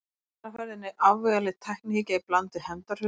Hér er á ferðinni afvegaleidd tæknihyggja í bland við hefndarhug.